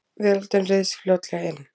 Veröldin ryðst fljótlega inn.